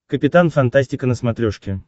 капитан фантастика на смотрешке